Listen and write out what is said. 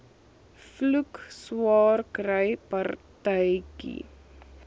vloek swaarkry partytjie